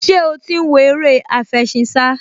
Ṣé ó ti ń wo eré àfẹṣinsá?